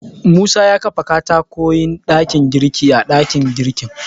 Musa ya kafa katakwayen ɗakin girki a ɗakin girkin.